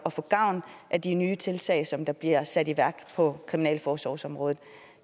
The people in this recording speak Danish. at få gavn af de nye tiltag som der bliver sat i værk på kriminalforsorgsområdet